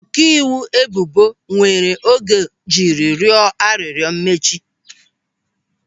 Ọkaiwu ebubo were oge jiri rịọ arịrịọ mmechi.